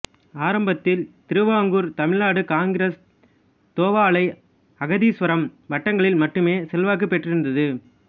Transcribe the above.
ஆரம்பத்தில் திருவாங்கூர் தமிழ்நாடு காங்கிரசு தோவாளை அகத்தீசுவரம் வட்டங்களில் மட்டுமே செல்வாக்குப் பெற்றிருந்தது